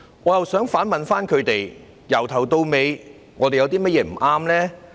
我想反問他們，由始至終，我們有甚麼不對呢？